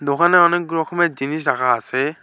ওখানে অনেক রকমের জিনিস রাখা আসে।